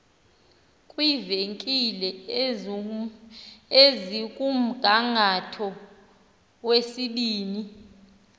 kwiivenkile ezikumgangatho wezibini